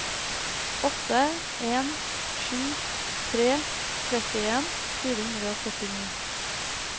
åtte en sju tre trettien fire hundre og førtini